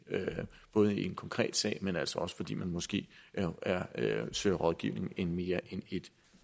en konkret sag men altså også fordi man måske søger rådgivning i mere end ét